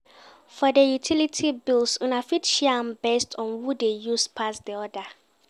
For di utility bills Una fit share am based on who de use pass di other